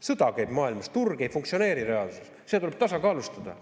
Sõda käib maailmas, turg ei funktsioneeri reaalsuses, seda tuleb tasakaalustada.